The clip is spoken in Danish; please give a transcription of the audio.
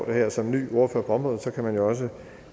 jeg som ny ordfører på området forstår det kan man også